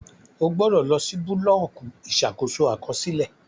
O gbọdọ lọ si bulọọki Ìṣàkóso Àkọsílẹ!